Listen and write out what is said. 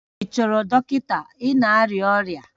Ị chọrọ dọkịta, ị na-arịa ọrịa